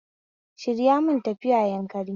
Shirya mu tafi Yanakari